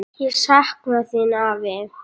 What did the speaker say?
Ég sakna þín, afi.